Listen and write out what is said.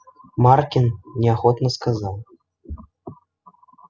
маркин неохотно сказал